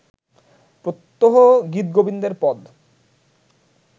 প্রত্যহ গীতগোবিন্দের পদ